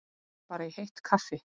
mig langar bara í heitt kaffi